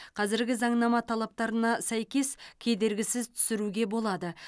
қазіргі заңнама талаптарына сәйкес кедергісіз түсіруге болады